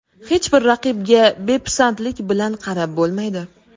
Hech bir raqibga bepisandlik bilan qarab bo‘lmaydi.